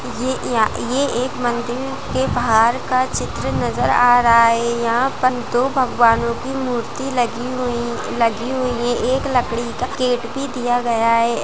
ये या यह एक मंदिर के बाहर का चित्र नजर आ रहा है यहाँ पर दो भगवानों की मूर्ति लगी हुई लगी हुई है एक लकड़ी का गेट भी दिया गया है।